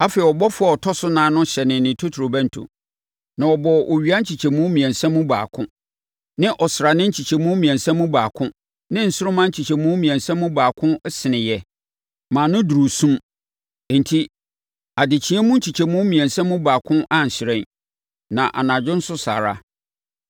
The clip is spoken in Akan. Afei, ɔbɔfoɔ a ɔtɔ so nan no hyɛnee ne totorobɛnto. Na wɔbɔɔ owia nkyekyɛmu mmiɛnsa mu baako, ne ɔsrane nkyekyɛmu mmiɛnsa mu baako ne nsoromma nkyekyɛmu mmiɛnsa mu baako seneeɛ maa no duduruu sum, enti adekyeeɛ mu nkyekyɛmu mmiɛnsa mu baako anhyerɛn, na anadwo nso saa ara.